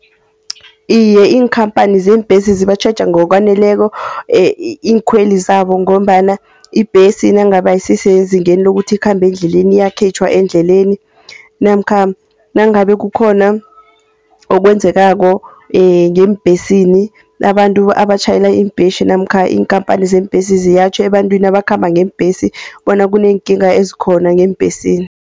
Iye, iinkampani zeembesi zibatjheja ngokwaneleko iinkhweli zabo. Ngombana ibhesi nangabe ayisisezingeni lokuthi ikhambe endleleni iyakhitjhwa endleleni. Namkha nangabe kukhona okwenzekako ngeembhesini, abantu abatjhayela iimbhesi, namkha iinkampani zeembesi ziyatjho ebantwini abakhamba ngeembhesi, bona kuneenkinga ezikhona ngeembhesini.